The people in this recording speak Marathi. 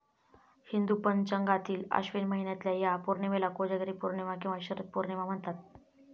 हिंदू पंचांगातील अश्विन महिन्यातल्या या पौर्णिमेला कोजागिरी पौर्णिमा किंवा शरद पौर्णिमा म्हणतात.